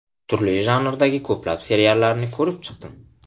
Turli janrdagi ko‘plab seriallarni ko‘rib chiqdim.